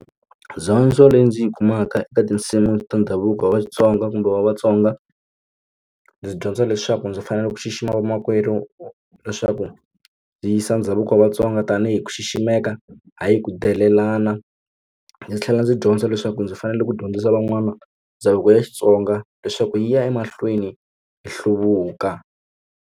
leyi ndzi yi kumaka eka tinsimu ta ndhavuko wa Vatsonga kumbe wa Vatsonga ndzi dyondza leswaku ndzi fanele ku xixima vamakwerhu leswaku ndzi yisa ndhavuko wa Vatsonga va nga tanihi ku xiximeka hayi ku delelana ndzi tlhela ndzi dyondza leswaku ndzi fanele ku dyondzisa van'wana ndhavuko ya Xitsonga leswaku yi ya emahlweni hi hluvuka.